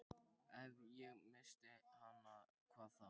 Ef ég missti hana, hvað þá?